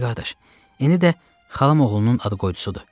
Pişik qardaş, indi də xalam oğlunun ad qoydusudur.